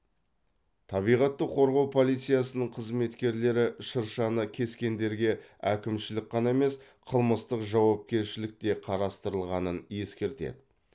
табиғатты қорғау полициясының қызметкерлері шыршаны кескендерге әкімшілік қана емес қылмыстық жауапкершілік те қарастырылғанын ескертеді